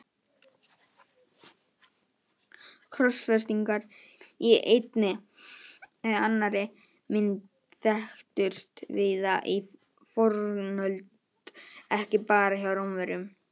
Krossfestingar í einni eða annarri mynd þekktust víða í fornöld, ekki bara hjá Rómverjum.